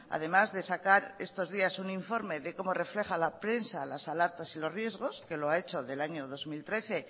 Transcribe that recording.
además de sacar estos días un informe de como refleja la prensa las alertas y los riesgos que lo ha hecho del año dos mil trece